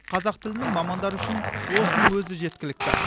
қазақ тілінің мамандары үшін осының өзі жеткілікті